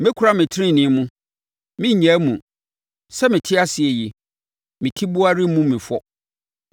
Mɛkura me tenenee mu. Merennyaa mu; sɛ mete ase yi, me tiboa remmu me fɔ.